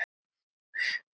Svo billega sleppur enginn.